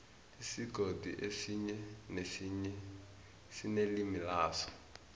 isigodi esinye nesinye sinelimi laso